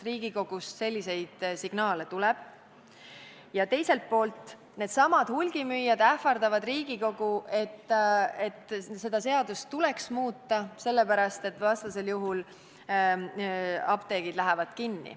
Riigikogust selliseid signaale ju tuleb ja teiselt poolt needsamad hulgimüüjad ähvardavad Riigikogu, et seadust tuleks muuta sellepärast, et vastasel juhul apteegid lähevad kinni.